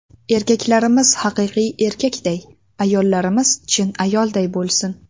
Erkaklarimiz haqiqiy erkakday, ayollarimiz chin ayolday bo‘lsin!.